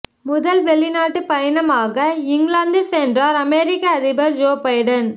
முதல் வெளிநாட்டுப் பயணமாக இங்கிலாந்து சென்றார் அமெரிக்க அதிபர் ஜோ பைடன்